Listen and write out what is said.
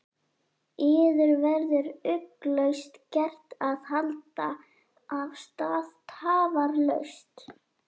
Yður verður ugglaust gert að halda af stað tafarlaust.